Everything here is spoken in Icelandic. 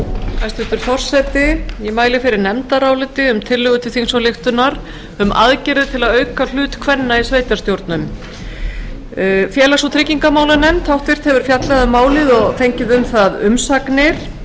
hæstvirtur forseti ég mæli fyrir nefndaráliti um tillögu til þingsályktunar um aðgerðir til að auka hlut kvenna í sveitarstjórnum háttvirtur félags og tryggingamálanefnd hefur fjallað um málið og fengið um það umsagnir